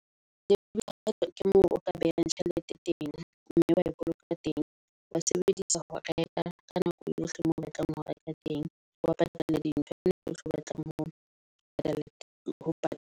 Debit card ke moo o ka behang tjhelete teng mme wa e boloka teng. Wa e sebedisa ho reka ka nako yohle moo o batlang ho reka teng. Wa patala di ntho ka nako eo batla ho patala .